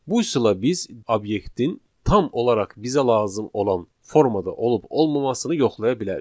Bu üsulla biz obyektin tam olaraq bizə lazım olan formada olub-olmamasını yoxlaya bilərik.